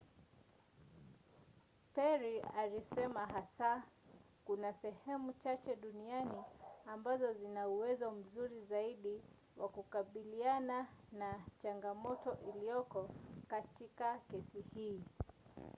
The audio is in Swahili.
perry alisema hasa kuna sehemu chache duniani ambazo zina uwezo mzuri zaidi wa kukabiliana na changamoto iliyoko katika kesi hii.